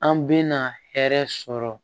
An bɛna hɛrɛ sɔrɔ